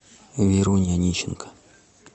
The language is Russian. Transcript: веруне анищенко